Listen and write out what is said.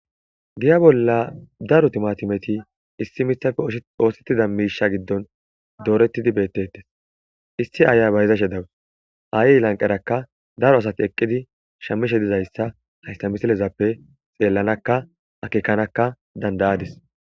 giya bolla daro timatimeti issi mithafe shoosettida miisha giddon doorettidi beettettes issi aaya bayizashe dawus aayey lanqerakka daro asati eqqidi shammishe dizayssa haysta misilezappe xeellanakka akekanakka dandayadis